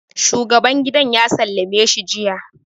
shuagaban gidan ya sallame si jiya